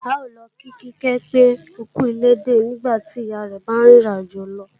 A ó lọ kí Kíkẹ́ pé ókú ilédè nígbàtí ìyá rẹ̀ bá rìn ìrìn àjò lọ